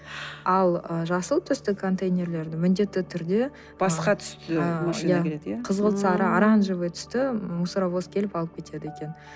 ал жасыл түсті контейнерлерді міндетті түрде басқа түсті машина келеді иә қызғылт сары оранжевый түсті мусоровоз келіп алып кетеді екен